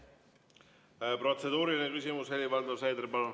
Protseduuriline küsimus, Helir-Valdor Seeder, palun!